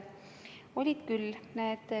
Olid küll.